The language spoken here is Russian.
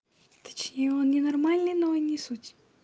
точнее он ненормальный но не суть